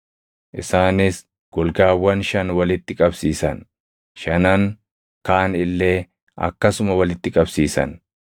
Isaanis golgaawwan shan walitti qabsiisan; shanan kaan illee akkasuma walitti qabsiisan.